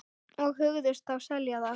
Og hugðust þá selja það.